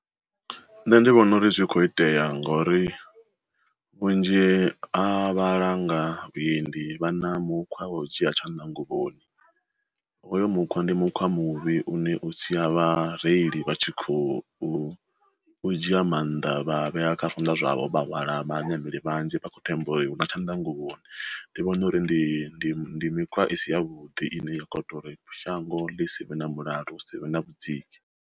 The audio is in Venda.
Nṋe ndi vhona uri zwi kho itea ngori, vhunzhi ha vhalanga vhuendi vha na mukhwa wa u dzhia tshanḓa nguvhoni, hoyo mukhwa ndi mukhwa muvhi une u sia vha reili vha tshi khou u dzhia maanḓa vha vhea kha funa zwavho vha hwala vha nameli vhanzhi vha kho themba uri hu na tshanḓanguvhoni. Ndi vhona uri ndi mikhwa i si ya vhuḓi ine ya kho ita uri shango ḽi si vhe na mulalo hu si vhe na vhudziki.